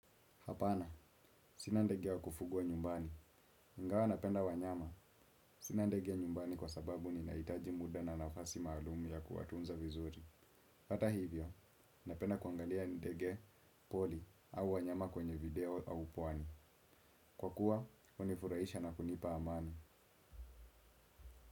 Hapana, sina ndege wa kufugwa nyumbani. Ingawa napenda wanyama, sina ndege nyumbani kwa sababu ninahitaji muda na nafasi maalumi ya kuwatunza vizuri. Hata hivyo, napenda kuangalia ndege pori au wanyama kwenye video au pwani. Kwa kuwa, hunifurahisha na kunipa amani.